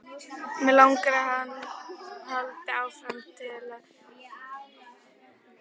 Mig langar að hann haldi áfram að sjúga mig.